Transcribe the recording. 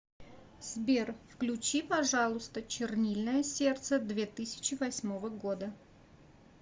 сбер включи пожалуйста чернильное сердце две тысячи восьмого года